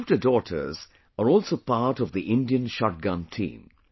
Our shooter daughters are also part of the Indian shotgun team